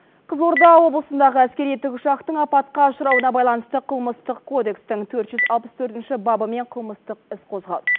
қызылорда облысындағы әскери тікұшақтың апатқа ұшырауына байланысты қылмыстық кодекстің төрт жүз алпыс төртінші бабымен қылмыстық іс қозғалды